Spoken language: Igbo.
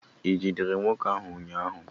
I jidere nwoke ahụ ụnyahụ?